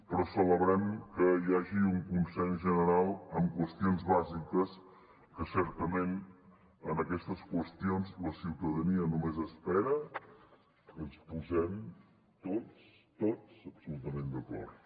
però celebrem que hi hagi un consens general en qüestions bàsiques que certament en aquestes qüestions la ciutadania només espera que ens posem tots tots absolutament d’acord